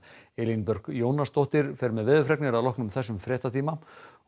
Elín Björk Jónasdóttir fer með veðurfregnir að loknum þessum fréttatíma og